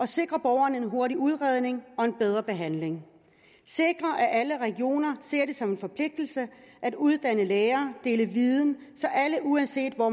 sikrer borgerne en hurtig udredning og en bedre behandling sikrer at alle regioner ser det som en forpligtelse at uddanne læger og dele viden så alle uanset hvor